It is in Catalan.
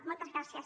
moltes gràcies